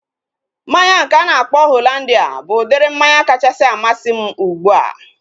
Mmanya nke a na-akpọ Hollandia bụ udiri mmanya kachasị amasị m ugbua